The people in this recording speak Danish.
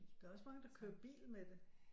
Der er også mange der kører bil med det